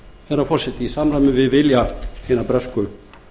herra forseti í samræmi við vilja hinna bresku